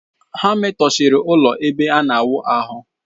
Ha metọsịrị ụlọ ebe ana awụ ahụ.